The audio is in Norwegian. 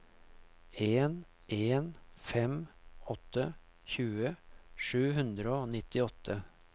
en en fem åtte tjue sju hundre og nittiåtte